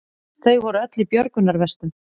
Þau voru öll í björgunarvestum